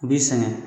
U b'i sɛgɛn